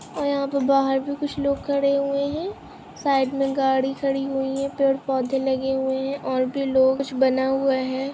--और यहाँ पे बाहर भी कुछ लोग खड़े हुए है साइड मे गाड़ी खड़ी हुई है पेड़ पौधे लगे हुए है और भी लोग कुछ बना हुआ है।